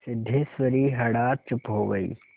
सिद्धेश्वरी हठात चुप हो गई